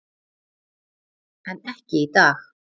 En ekki í dag.